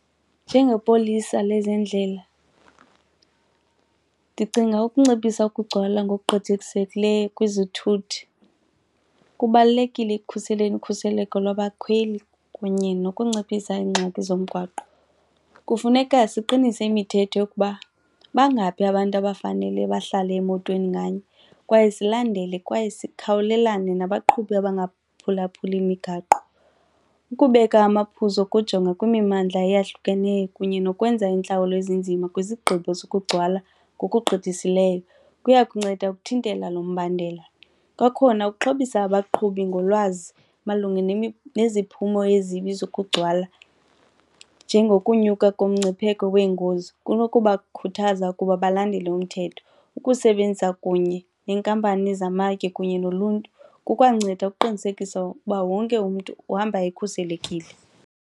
Njengepolisa lezendlela, ndicinga ukunciphisa ukugcwala ngokugqithisekileyo kwizithuthi. Kubalulekile ekukhuseleni ukhuseleko labakhweli kunye nokunciphisa iingxaki zomgwaqo. Kufuneka siqinise imithetho yokuba bangaphi abantu abafanele bahlale emotweni nganye kwaye silandele kwaye sikhawulelane nabaqhubi abangaphulaphuli imigaqo. Ukubeka amaphuzo kujonga kwimimandla eyahlukeneyo kunye nokwenza iintlawulo ezinzima kwizigqibo zokugcwala ngokugqithisileyo kuya kunceda ukuthintela lo mbandela. Kwakhona ukuxhobisa abaqhubi ngolwazi malunga neziphumo ezibi nokugcwala njengokunyuka komngcipheko weengozi kunokubakukhuthaza ukuba balandele umthetho. Ukusebenza kunye neenkampani zamatye kunye noluntu kukwanceda ukuqinisekisa ukuba wonke umntu uhamba ekhuselekile.